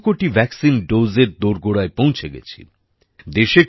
আমরা ২০০ কোটি ভ্যাকসিন ডোজএর দোরগোড়ায় পৌছে গেছি